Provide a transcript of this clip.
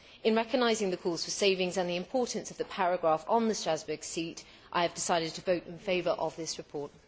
In recognising the calls for savings and the importance of the paragraph on the Strasbourg seat, I have decided to vote in favour of this report.